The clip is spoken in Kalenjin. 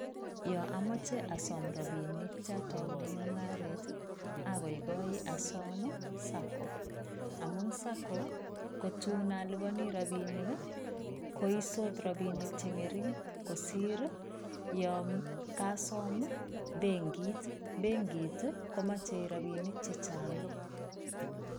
Ya amache asom rapinik cha taune mungaret ii agaigoi asom, Sacco. Amun sacco ko tun alupani rapinik ii koisot rapinik che ngering kosir ii yon kasom ii benkit. Benkit ii komache rapinik chechang.